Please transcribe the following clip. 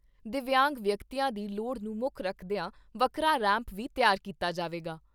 ਦਿਵਿਆਂਗ ਵਿਅਕਤੀਆਂ ਦੀ ਲੋੜ ਨੂੰ ਮੁੱਖ ਰੱਖਦਿਆਂ ਵੱਖਰਾ ਰੈਂਪ ਵੀ ਤਿਆਰ ਕੀਤਾ ਜਾਵੇਗਾ।